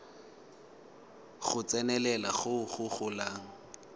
go tsenelela go go golang